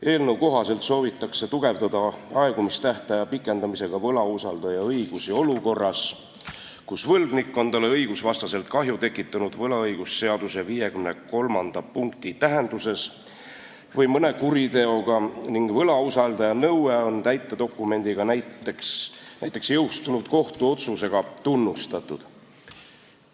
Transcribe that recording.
Eelnõu kohaselt soovitakse aegumistähtaja pikendamisega suurendada võlausaldaja õigusi olukorras, kus võlgnik on talle tekitanud kahju õigusvastaselt võlaõigusseaduse 53. peatüki tähenduses või mõne kuriteoga ning võlausaldaja nõue on täitedokumendiga, näiteks jõustunud kohtuotsusega tunnustatud.